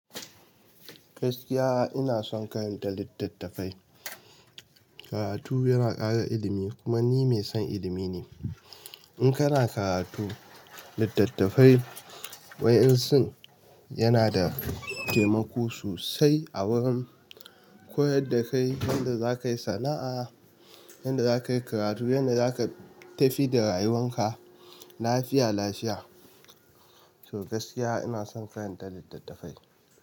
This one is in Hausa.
Gaskiya ina son karanta littattafai. Karatu yana ƙara ilimi kuma ni mai son ilimi ne. In kana karatu, littattafai wa'yansu yana da taimako sosai a wurin koyar da kai yadda za ka yi sana'a, yadda za ka yi karatu, yadda za ka tafi da rayuwan ka lafiya lafiya. To gaskiya ina son karanta littattafai.